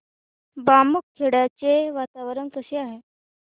बामखेडा चे वातावरण कसे आहे